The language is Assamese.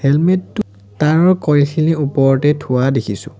হেলমেট টো তাঁৰৰ কইল খিনিৰ ওপৰতে থোৱা দেখিছোঁ।